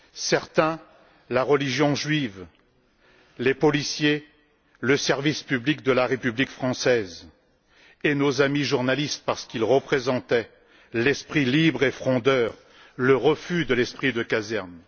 Certains la religion juive, les policiers le service public de la République française, et nos amis journalistes parce qu'ils représentaient l'esprit libre et frondeur, le refus de l'esprit de caserne.